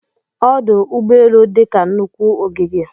Ọdụ ụgbọelụ dị ka nnukwu ogige